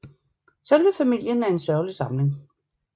Selve famillien er en sørgelig samling